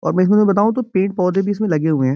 और मै इसमें अगर बताऊ तो पेड़-पौधे भी इस में लगे हुए हैं।